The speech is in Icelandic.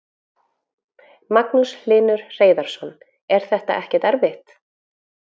Magnús Hlynur Hreiðarsson: Er þetta ekkert erfitt?